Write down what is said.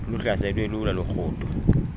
luhlaselwe lula lurhudo